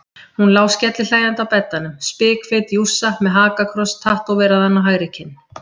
Hún lá skellihlæjandi á beddanum, spikfeit jússa með hakakross tattóveraðan á hægri kinn.